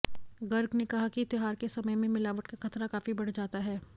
गर्ग ने कहा कि त्योहार के समय में मिलावट का खतरा काफी बढ़ जाता है